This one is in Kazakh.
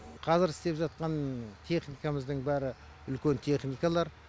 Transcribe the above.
қазір істеп жатқан техникамыздың бәрі үлкен техникалар